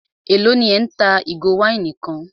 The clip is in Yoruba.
Élò ní ẹ́ ń ta ìgò wáìnì kan?